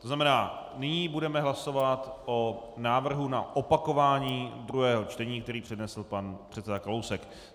To znamená, nyní budeme hlasovat o návrhu na opakování druhého čtení, který přednesl pan předseda Kalousek.